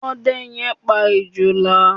Ọdẹ yẹn pa Ejòlá.